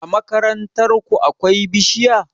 A makarantar ku akwai bishiya?